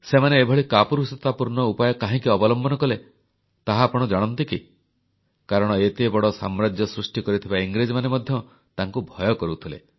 ସେମାନେ ଏଭଳି କାପୁରୁଷତାପୂର୍ଣ୍ଣ ଉପାୟ କାହିଁକି ଅବଲମ୍ବନ କଲେ ତାହା ଆପଣ ଜାଣନ୍ତି କି କାରଣ ଏତେ ବଡ଼ ସାମ୍ରାଜ୍ୟ ସୃଷ୍ଟି କରିଥିବା ଇଂରେଜମାନେ ମଧ୍ୟ ତାଙ୍କୁ ଭୟ କରୁଥିଲେ